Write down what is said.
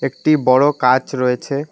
একটি বড়ো কাঁচ রয়েছে।